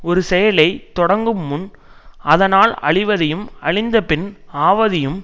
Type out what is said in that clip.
ஒரு செயலை தொடங்குமுன் அதனால் அழிவதையும் அழிந்த பின் ஆவதையும்